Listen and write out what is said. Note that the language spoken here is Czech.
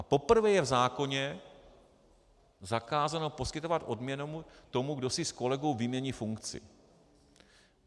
A poprvé je v zákoně zakázáno poskytovat odměnu tomu, kdo si s kolegou vymění funkci.